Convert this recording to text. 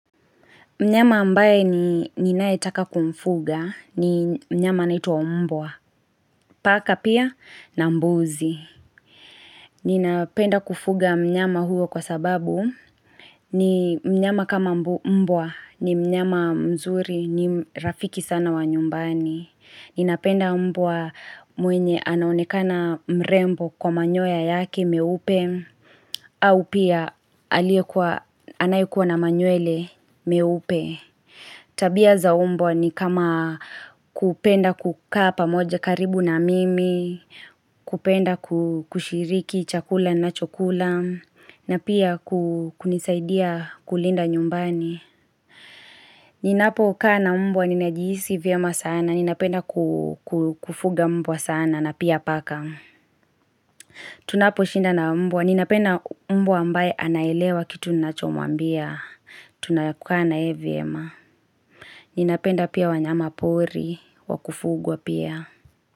Mnyama ambaye ni ninayetaka kumfuga ni mnyama anaitwa mbwa. Paka pia na mbuzi. Ninapenda kufuga mnyama huyo kwa sababu ni mnyama kama mbwa ni mnyama mzuri ni rafiki sana wa nyumbani. Ninapenda mbwa mwenye anaonekana mrembo kwa manyoya yake meupe. Au pia anayekuwa na manywele meupe. Tabia za mbwa ni kama kupenda kukaa pamoja karibu na mimi, kupenda kushiriki chakula ninachokula, na pia kunisaidia kulinda nyumbani. Ninapokaa na mbwa, ninajihisi vyema sana, ninapenda kufuga mbwa sana, na pia paka. Tunaposhinda na mbwa, ninapenda mbwa ambaye anaelewa kitu ninachomwambia, tunakaa na yeye vyema. Ninapenda pia wanyama pori, wakufugwa pia.